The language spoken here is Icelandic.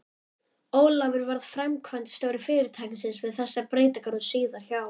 Ólafur varð framkvæmdastjóri fyrirtækisins við þessar breytingar og síðar hjá